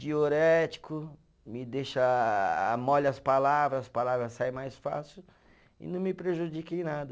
Diurético, me deixa ah, molha as palavras, as palavras saem mais fácil e não me prejudica em nada.